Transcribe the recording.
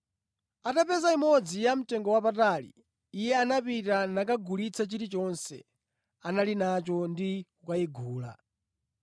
Atapeza imodzi ya mtengowapatali, iye anapita nakagulitsa chilichonse anali nacho ndi kukayigula.”